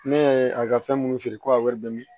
Ne y'a ye a ka fɛn minnu feere ko a wari bɛ